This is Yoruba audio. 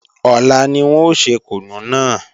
Ọ̀la ni wọ́n ò ṣe kùnú náà